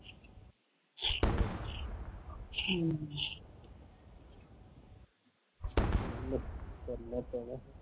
ਚਲ ਕਰਨਾ ਪੈਣਾ ਹੈ